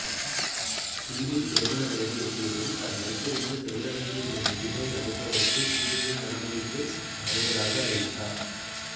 சீதை திருமண வயதை எட்டியதும் தான் வைத்திருந்த சிவதனுசு என்னும் வில்லை வளைப்பவருக்கு சீதையை மணமுடித்துத் தருவதாக அறிவித்தார்